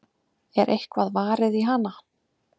Er eitthvað varið í hana?